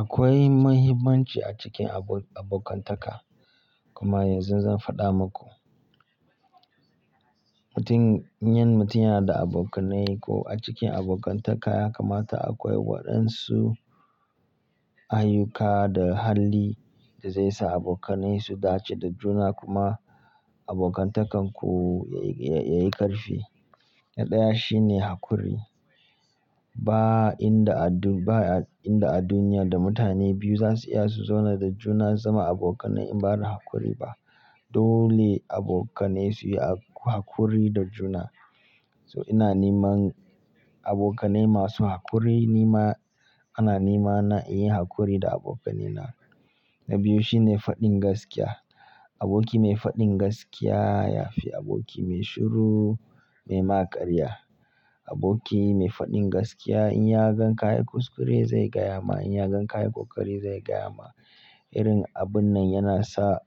Akwai muhimmanci a cikin abok-abokantaka. Kuma yanzu zan faɗa muku. Mutum, yin mutum yana da abokanai ko a cikin abokantaka ya kamata akwai waɗansu ayyuka da hali da zai sa abokanai su dace da juna kuma abokantakarku ya yi ƙarfi. Na ɗaya shine haƙuri. Ba inda a bun-ba inda a duniya da mutane biyu za su iya su zauna da juna su zama abokanai in ba da hakuri ba. Dole abokanai su yi hakuri da juna. So ina niman abokanai masu hakuri nima ana nimana in yi hakuri da abokanaina. Na biyu shine faɗin gaskiya. Aboki mai faɗin gaskiya ya fi aboki mai shiru mai ma ƙarya. Aboki mai faɗin gaskiya in ya gan kayi kuskure zai gaya ma, in ya gan kayi ƙoƙari zai gaya ma. Irin abun nan yana sa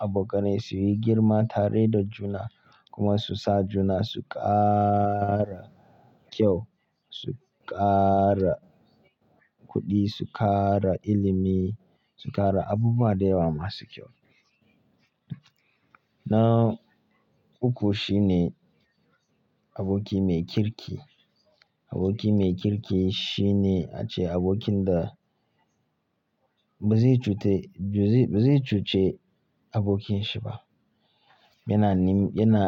abokanai su yi girma tare da juna kuma su sa juna su ƙara kyau, su ƙara kuɗi, su ƙara ilimi, su ƙara abubuwa da yawa masu kyau. Na uku shine aboki mai kirki. Aboki mai kirki shine ace abokin da ba zai cute, ba zai cuce abokinshi ba. Yana nim-yana,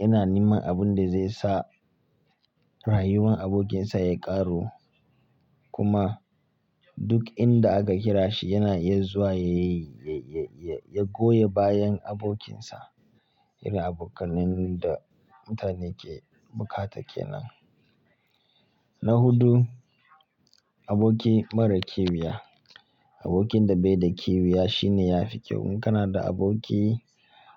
yana niman abun da zai sa rayuwar abokinsa ya ƙaru kuma duk inda aka kira shi yana iya zuwa ya yi, ya, ya, ya goya bayan abokinsa. Irin abokanin da mutane ke bukata ke nan. Na hudu, aboki mara kiwiya. Abokin da bai da kiwiya shine ya fi kyau. In kana da aboki,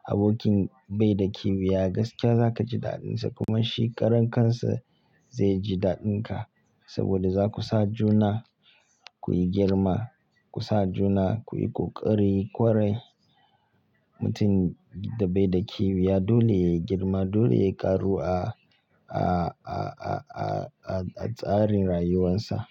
abokin bai da kiwiya gaskiya za ka ji daɗinsa kuma shi karan kansa zai ji daɗinka saboda za ku sa juna ku yi girma, ku sa juna ku yi ƙoƙari. Kwarai, mutum da bai da kiwiya dole yayi girma, dole yayi ƙaru a, a, a, a, a, a tsarin rayuwarsa.